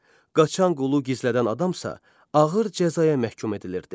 Qaçan qulu gizlədən adamsa ağır cəzaya məhkum edilirdi.